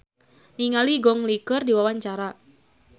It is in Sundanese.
Deva Mahendra olohok ningali Gong Li keur diwawancara